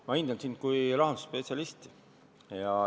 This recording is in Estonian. Ma hindan sind kui rahandusspetsialisti.